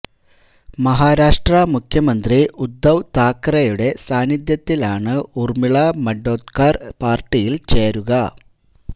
മഹാരാഷ്ട്ര മുഖ്യമന്ത്രി ഉദ്ദവ് താക്കറെയുടെ സാന്നിധ്യത്തിലാണ് ഊര്മിള മണ്ഡോദ്കര് പാര്ട്ടിയില് ചേരുക